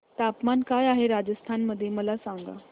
तापमान काय आहे राजस्थान मध्ये मला सांगा